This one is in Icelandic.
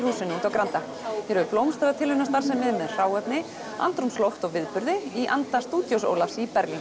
Granda hér blómstraði tilraunamennska með hráefni andrúmsloft og viðburði í anda stúdíós Ólafs í Berlín